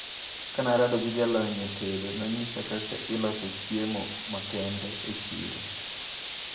Kanarado gi jalony e tedo, nonyisa kaka iloso chiemo makende e chiro.